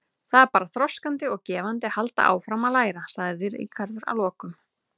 Það er bara þroskandi og gefandi að halda áfram að læra, sagði Ríkharður að lokum.